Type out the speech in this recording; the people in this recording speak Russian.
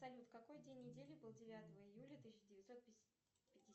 салют какой день недели был девятого июля тысяча девятьсот